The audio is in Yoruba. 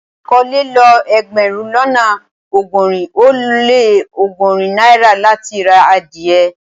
À kò lè lọ ẹgbérùn lọ́nà ogórin o le ọgọ́rin naira láti rá adìẹ